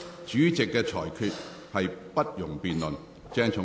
主席的裁決不容辯論。